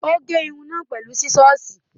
Ó gé irun náà pẹ̀lú sísọ́ọ̀sì.